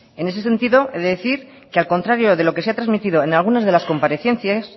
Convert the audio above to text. en ese sentido he de decir que al contrario de lo que se ha transmitido en alguna de las comparecencias